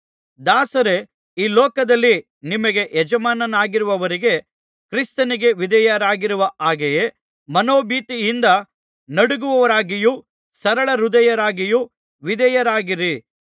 ದಾಸರೇ ಈ ಲೋಕದಲ್ಲಿ ನಿಮಗೆ ಯಜಮಾನರಾಗಿರುವವರಿಗೆ ಕ್ರಿಸ್ತನಿಗೆ ವಿಧೇಯರಾಗುವ ಹಾಗೆಯೇ ಮನೋಭೀತಿಯಿಂದ ನಡುಗುವವರಾಗಿಯೂ ಸರಳಹೃದಯರಾಗಿಯೂ ವಿಧೇಯರಾಗಿರಿ